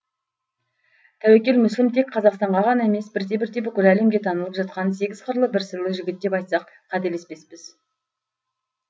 тәуекел мүсілім тек қазақстанға ғана емес бірте бірте бүкіл әлемге танылып жатқан сегіз қырлы бір сырлы жігіт деп айтсақ қатесеспеспіз